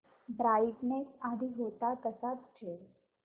brightness आधी होता तसाच ठेव